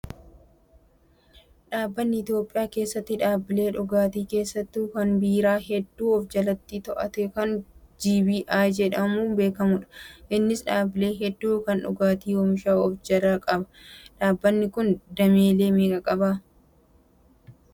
Dhaabbanni Itoophiyaa keessatti dhaabbilee dhugaatii keessattuu kan biiraa hedduu of jalatti to'atu kan "BGI" jedhamu beekamaadha. Innis dhaabbilee hedduu kan dhugaatii oomishan of jalaa qaba. Dhaabbanni kun dameelee meeqa qaba?